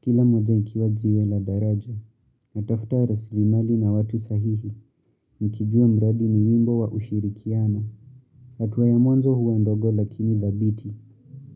kila moja ikiwa jiwe la daraja. Natafuta rasilimali na watu sahihi. Nikijua mradi ni wimbo wa ushirikiano. Hatua ya mwazo huwa ndogo lakini dhabiti.